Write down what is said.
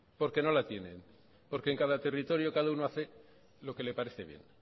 porque no la tienen porque en cada territorio cada uno hace lo que le parece bien